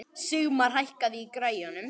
Sigmar, hækkaðu í græjunum.